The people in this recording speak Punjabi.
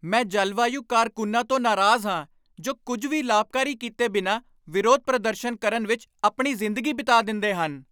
ਮੈਂ ਜਲਵਾਯੂ ਕਾਰਕੁੰਨਾਂ ਤੋਂ ਨਾਰਾਜ਼ ਹਾਂ ਜੋ ਕੁਝ ਵੀ ਲਾਭਕਾਰੀ ਕੀਤੇ ਬਿਨਾਂ ਵਿਰੋਧ ਪ੍ਰਦਰਸ਼ਨ ਕਰਨ ਵਿੱਚ ਆਪਣੀ ਜ਼ਿੰਦਗੀ ਬਿਤਾ ਦਿੰਦੇ ਹਨ।